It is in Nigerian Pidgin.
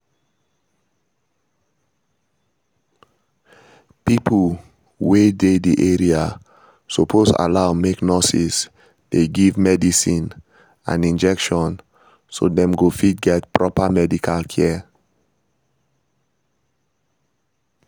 pipo wey dey the area suppose allow make nurses dey give medicine and injection so dem go fit get proper medical care